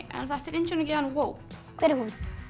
þetta er indíánagyðjan Vóp hver er hún